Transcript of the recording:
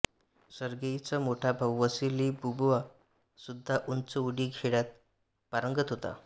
सर्गेईचा मोठा भाऊ Vasily Bubka सुद्धा उंच उडी खेळात पारंगत होता